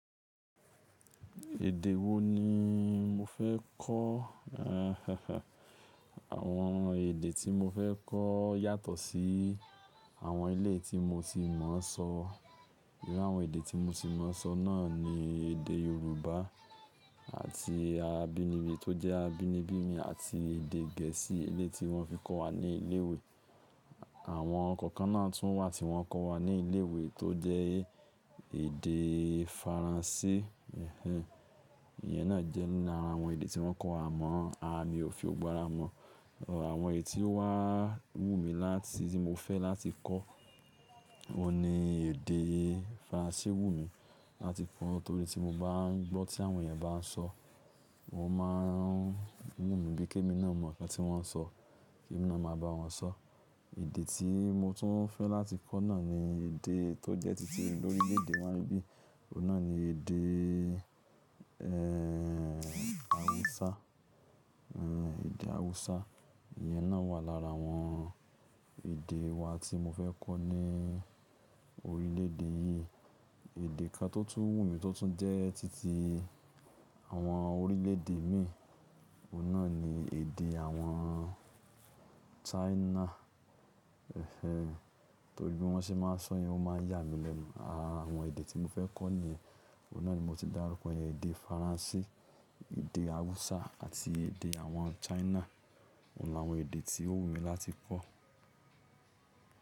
Èdè wo ni mo fẹ́ kọ́? Àwọn èdè tí mo fẹ́ kọ́ yàtọ̀ sí àwọn eleyi tí mo ti mọ̀ ọ́n sọ. Nínú àwọn èdè tí mo ti mọ̀ ọ́n sọ náà ni èdè Yorùbá àti abínibí tó jẹ́ abínibí mi àti èdè Gẹ̀ẹ́sì, ilé tí wọ́n fi kọ́ wa ní ilé ìwé. Àwọn ǹkan kan náà tún wà tí wọ́n kọ́ wa ní ilé ìwé tó jẹ́ èdè Faransé. Ẹ̀hẹ̀n. Iyẹn náà jẹ́ nínú àwọn èdè tí wọ́n kọ́ wa mọ̀, a mi ò fi ọgbọ́n ra mọ̀. Àwọn èyí tí ó wá wù mí láti tí mo fẹ́ láti kọ́, òun ni èdè Faransé wù mí láti kọ́ nítorí tí mo bá ń gbọ́ tí àwọn èyàn bá ń sọ, wọ́n máa ń wù mí bí i kí èmi náà mọ̀ ǹkan tí wọ́n ń sọ kí èmi náà máa bá wọn sọ. Èdè tí mo tún fẹ́ láti kọ́ náà ni èdè tó jẹ́ títí lórílẹ̀ èdè wọn bí i, òun náà ni èdè, ẹ́ẹ́, Hausa. Ẹ̀hẹ̀n, èdè Hausa. Iyẹn náà wà lára àwọn èdè wa tí mo fẹ́ kọ́ ní orílẹ̀ èdè yìí. Èdè kan tó tún wù mí tó tún jẹ́ títí àwọn orílẹ̀ èdè mi, òun náà ni èdè àwọn China. Ẹ̀hẹ̀n. Nítorí bí wọ́n ṣe bá máa sọ̀yẹn, wọ́n máa yà mí lẹ́nu. Àwọn èdè tí mo fẹ́ kọ́ nìyẹn. Òun náà ni mo ti dárúkọ èdè Faransé, èdè Hausa àti èdè àwọn China. Óun làwọn èdè tí ó wù mí láti kọ́.